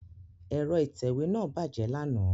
Ẹ̀rọ ìtẹ̀wé náà bàjẹ́ lánàá.